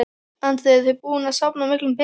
Andri: Eruð þið búin að safna miklum pening?